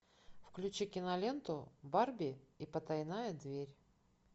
включи киноленту барби и потайная дверь